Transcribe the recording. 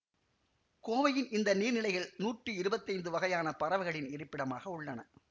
கோவையின் இந்த நீர்நிலைகள் நூட்டி இருவத்தைந்து வகையான பறவைகளின் இருப்பிடமாக உள்ளன